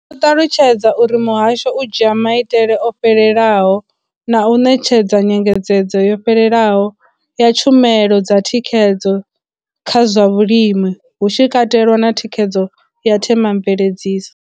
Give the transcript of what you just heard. Vho ṱalutshedza uri muhasho u dzhia maitele o fhelelaho na u ṋetshedza nyengedzedzo yo fhelelaho ya tshumelo dza thikhedzo kha zwa vhulimi, hu tshi katelwa na thikhedzo ya themamveledziso.